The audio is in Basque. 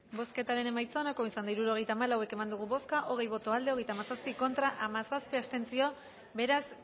bozketaren emaitza onako izan da hirurogeita hamalau eman dugu bozka hogei boto aldekoa hogeita hamazazpi contra hamazazpi abstentzio beraz